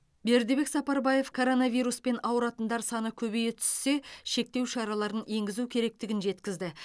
бердібек сапарбаев коронавируспен ауыратындар саны көбейе түссе шектеу шараларын енгізу керектігін жеткізді